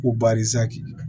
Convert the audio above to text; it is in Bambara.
Ko baarisi